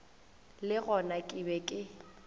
le gona ke be ke